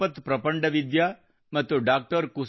ಚಿರಾಪತ್ ಪ್ರಪಂಡವಿದ್ಯಾ ಮತ್ತು ಡಾ